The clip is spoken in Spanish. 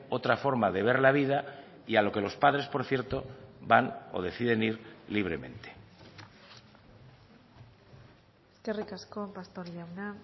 otra forma de ver la vida y a lo que los padres por cierto van o deciden ir libremente eskerrik asko pastor jauna